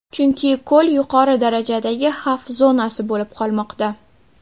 Chunki ko‘l yuqori darajadagi xavf zonasi bo‘lib qolmoqda.